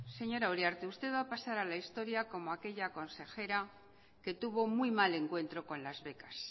señora uriarte usted va a pasar a la historia como aquella consejera que tuvo muy mal encuentro con las becas